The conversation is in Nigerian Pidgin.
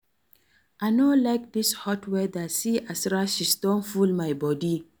I no like dis hot weather see as rashes don full my body